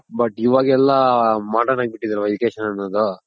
but ಇವಾಗೆಲ್ಲ modern ಆಗ್ ಬಿಟ್ಟಿದೆ Education ಅನ್ನೋದು.